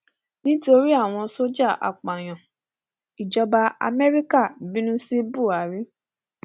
nítorí àwọn sójà apààyàn ìjọba amẹríkà bínú sí buhari